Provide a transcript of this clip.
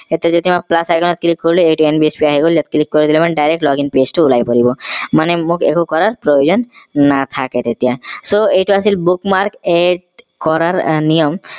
এইটো যদি মই plus icon ত click কৰিলো এইটো nbsp আহি গল ইয়াত click কৰি দিলে মানে direct login page টো ওলাই পৰিব মানে মোক একো কৰাৰ প্ৰয়োজন নাথাকে তেতিয়া so এইটো আছিল bookmark add কৰাৰ নিয়ম